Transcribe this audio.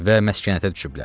Və məskənətə düşüblər.